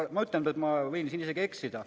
Ma ütlen, et ma võin siin ka eksida.